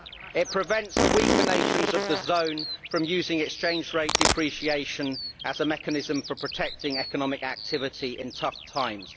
It prevents the weaker nations of the zone from using exchange rate depreciation as a mechanism for protecting economic activity in tough times.